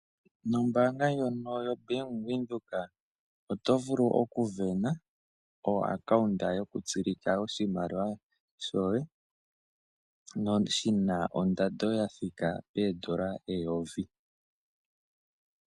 Nombaanga ndjono yobank Windhoek oto vulu oku sindana oaccount yo ku tsilika oshimaliwa shoye shina ondando ya thika pee dolla eyovi